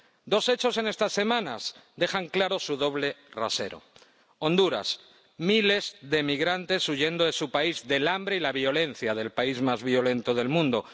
Dos hechos en estas semanas dejan claro su doble rasero Honduras, miles de migrantes huyendo de su país, del hambre y la violencia del país más violento del mundo.